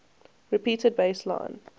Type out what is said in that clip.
repeated bass line